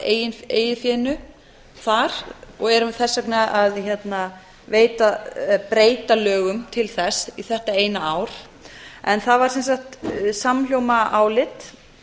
af eigin fé þar og erum þess vegna að breyta lögum til þess í þetta eina ár það var sem sagt samhljóma álit